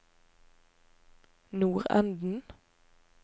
nordenden